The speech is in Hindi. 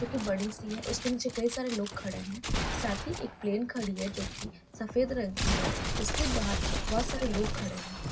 जो की बड़ी सी है | उसके नीचे कई सारे लोग खड़े हैं साथ ही एक प्लेन खड़ी है जो की सफेद रंग की है | उसके बाहर बहुत सारे लोग खड़े हैं।